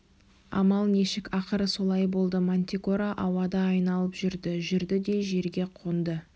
амал нешік ақыры солай болды мантикора ауада айналып жүрді жүрді де жерге қонды